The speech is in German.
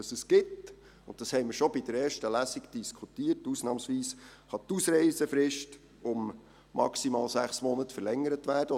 Was es gibt – und darüber haben wir schon bei der ersten Lesung diskutiert –, ist, dass die Ausreisefrist ausnahmsweise um maximal 6 Monate verlängert wird.